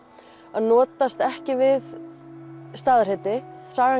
að notast ekki við staðarheiti sagan